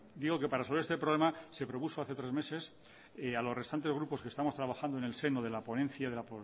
digo que para resolver este problema se propuso hace tres meses a los restantes grupos que estamos trabajando en el seno de la ponencia de la